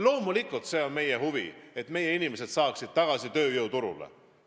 Loomulikult see on meie huvi, et meie inimesed saaksid tagasi tööjõuturule.